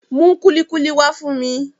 Mú kúlíkúlí wá fún mi